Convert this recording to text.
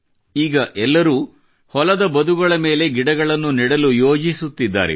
ಈಗ ಎಲ್ಲರೂ ಹೊಲದ ಬದುಗಳ ಮೇಲೆ ಗಿಡಹನ್ನು ನೆಡಲು ಯೋಜಿಸುತ್ತಿದ್ದಾರೆ